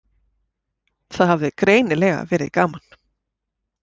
Það hafði greinilega verið gaman.